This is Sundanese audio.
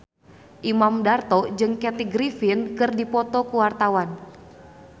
Imam Darto jeung Kathy Griffin keur dipoto ku wartawan